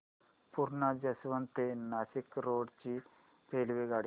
Purna junction ते Nashik road ची रेल्वेगाडी